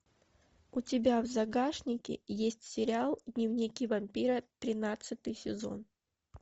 у тебя в загашнике есть сериал дневники вампира тринадцатый сезон